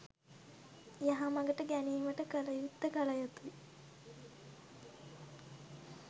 යහමගට ගැනීමට කළයුත්ත කළ යුතුයි.